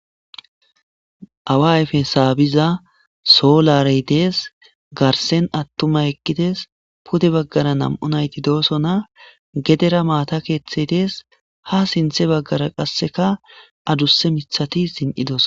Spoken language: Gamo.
Awa ayfe saabiza solarey des, garden atumay eqides, pude bagara nam'u nayti dosona, gedera maata kethiybdes, ha sinthe bagara qaseka adusa mithati zin'idosona